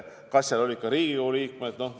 Kas seal olid ka Riigikogu liikmed?